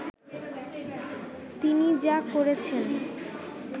তিনি যা করেছেন